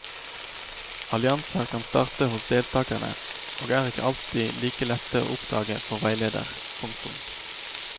Allianser kan starte hos deltakerne og er ikke alltid like lette å oppdage for veileder. punktum